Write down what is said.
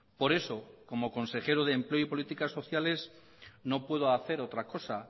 por eso como consejero de empleo y políticas sociales no puedo hacer otra cosa